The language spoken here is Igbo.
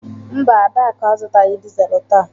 Mba, Adaku azụtaghị dizelu taa.